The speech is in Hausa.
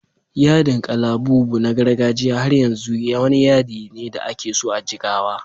Yadin kalabubu na gargajiya har yanzu wani yadi ne da ake so a Jigawa.